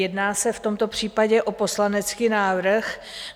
Jedná se v tomto případě o poslanecký návrh.